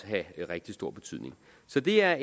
have rigtig stor betydning så det er